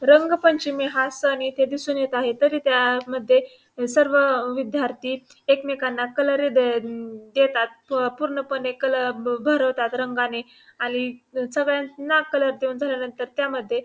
रंग पंचमी हा सण इथे दिसून येत आहे तरी त्या मध्ये सर्व विद्यार्थी एकमेकांना कलर दे देतात पूर्ण पणे कलर भरवतात रंगाने आणि सगळ्यांना कलर देऊन झाल्यानंतर त्यामध्ये--